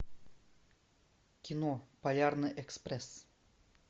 кино полярный экспресс